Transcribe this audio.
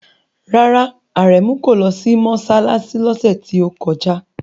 Rárá, Aremu kò lọ sí mọ́ṣáláṣí lọ́sẹ̀ tí ó kọjá.